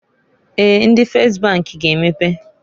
Eeǃ Ndi Fes bank g'emepe.